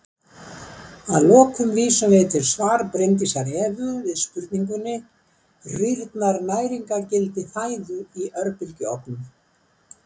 Að lokum vísum við í svar Bryndísar Evu við spurningunni Rýrnar næringargildi fæðu í örbylgjuofnum?